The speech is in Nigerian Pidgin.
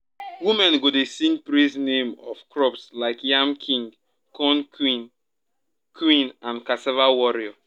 women go dey sing praise name of crops like yam king corn queen queen and cassava warrior.